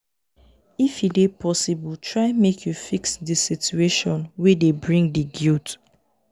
if e dey possible try make you fix di situation wey dey bring di guilt